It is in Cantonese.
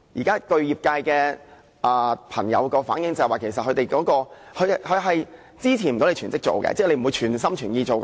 據業界朋友反映，法援並不足以支持他們成為全職當值律師，即是他們不會全心全意做。